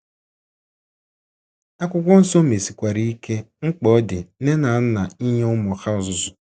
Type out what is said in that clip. Akwụkwọ Nsọ mesikwara ike mkpa ọ dị nne nne na nna inye ụmụ ha ọzụzụ.